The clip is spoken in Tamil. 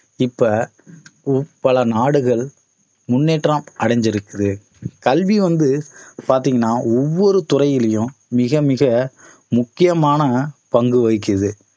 இப்ப பல நாடுகள் முன்னேற்றம் அடைஞ்சிருக்குது கல்வி வந்து பாத்தீங்கன்னா ஒவ்வொரு துறையிலையும் மிக மிக முக்கியமான பங்கு வகிக்குது